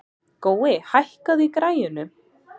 Gói, hækkaðu í græjunum.